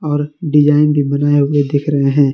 और डिजाइन भी बनाए हुए दिख रहे हैं।